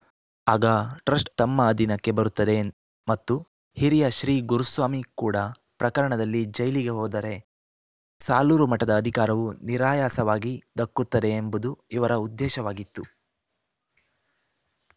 ಆಗ ಟ್ರಸ್ಟ್‌ ತಮ್ಮ ಅಧೀನಕ್ಕೆ ಬರುತ್ತದೆ ಮತ್ತು ಹಿರಿಯ ಶ್ರೀ ಗುರುಸ್ವಾಮಿ ಕೂಡ ಪ್ರಕರಣದಲ್ಲಿ ಜೈಲಿಗೆ ಹೋದರೆ ಸಾಲೂರು ಮಠದ ಅಧಿಕಾರವೂ ನಿರಾಯಾಸವಾಗಿ ದಕ್ಕುತ್ತದೆ ಎಂಬುದು ಇವರ ಉದ್ದೇಶವಾಗಿತ್ತು